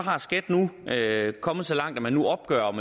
er skat nu kommet så langt at man nu opgør om